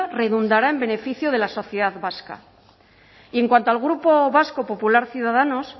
redundará en beneficio de la sociedad vasca y en cuanto al grupo vasco popular ciudadanos